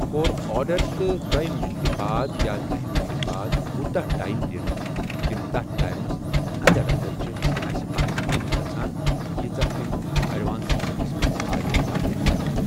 کوٚر آرڈر تہٕ دۄیہِ منٹہِ باد یا دہہِ منٹہِ باد کوٗتاہ ٹایِم دِنۍ تِم تٔتھۍ ٹایمس انڈر انڈر چھِ اسہِ پنٕنۍ کٲم گژھان ییٖژہ أمۍ اٮ۪ڈوانسَمنٹس سۭتۍ آیہِ واریاہ زیادٕ۔